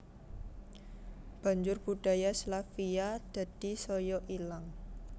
Banjur budaya Slavia dadi saya ilang